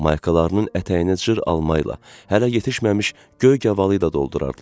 Maykalarının ətəyini cır alma ilə, hələ yetişməmiş göy qavalı ilə doldurardılar.